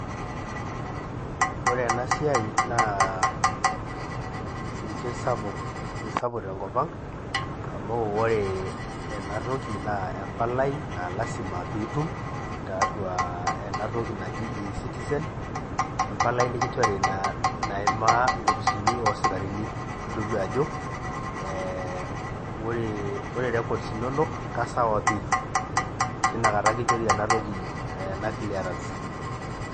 Ore enasai naa keisapuk tenkopang amu ore enatoki naa empalai na lasima pee itum tiatua enatoki naji ecitizen empalai nikinchori naimaa inkopisini oosikarini, itodolu ajo eeh ore records inonok keisawa pi tinakata kinchori ena clearance.